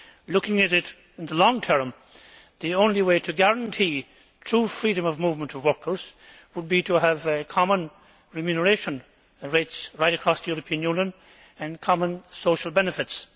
Looking at it in the long term, the only way to guarantee true freedom of movement of workers would be to have common remuneration rates right across the European Union and common social benefits.